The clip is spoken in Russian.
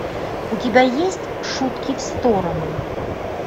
у тебя есть шутки в сторону